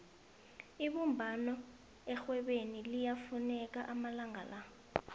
ibumbano erhwebeni liyafuneka amalanga la